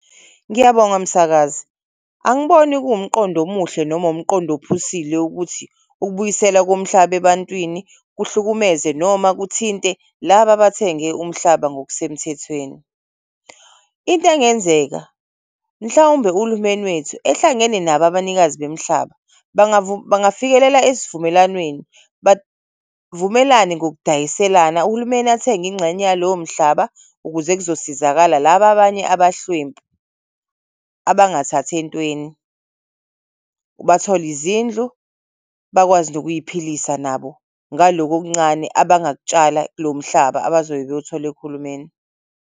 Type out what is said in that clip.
Ngiyabonga msakazi angiboni kuwumqondo omuhle noma wumqondo ophusile ukuthi ukubuyiselwa komhlaba ebantwini kuhlukumeze noma kuthinte laba abathenge umhlaba ngokusemthethweni. Into engenzeka mhlawumbe uhulumeni wethu ehlangene nabo abanikazi bemihlaba bangafikelela esivumelwaneni, bavumelane ngokudayiselana uhulumeni athenge ingxenye yalowomhlaba ukuze kuzosizakala laba abanye abahlwempu abangathathi entweni, bathole izindlu, bakwazi nokuy'philisa nabo ngaloko okuncane abangakutshala kulomhlaba abazobe bewuthole kuhulumeni.